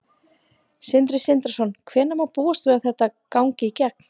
Sindri Sindrason: Hvenær má búast við að þetta gangi í gegn?